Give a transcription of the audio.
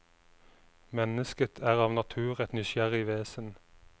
Mennesket er av natur et nysgjerrig vesen.